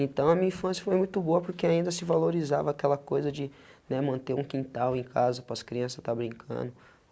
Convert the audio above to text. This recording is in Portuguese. Então a minha infância foi muito boa, porque ainda se valorizava aquela coisa de né, manter um quintal em casa, para as crianças estar brincando.